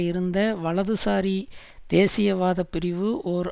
இருந்த வலதுசாரி தேசியவாதப் பிரிவு ஓர்